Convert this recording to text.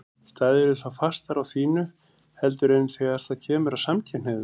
Stæðirðu þá fastar á þínu heldur en þegar það kemur að samkynhneigðum?